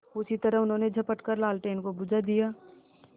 उसी तरह उन्होंने झपट कर लालटेन को बुझा दिया